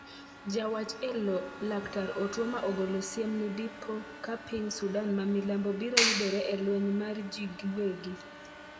jawach elo laktar otuoma ogolo siem ni dipo ka piny Sudan ma milambo biro yudore e lweny mar ji gi wegi